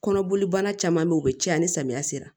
Kɔnɔboli bana caman bɛ ye u bɛ caya ni samiya sera